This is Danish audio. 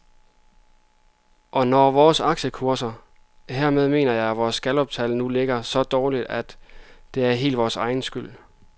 Og når vores aktiekurser, hermed mener jeg vores galluptal, nu ligger så dårligt, er det også helt vores egen skyld.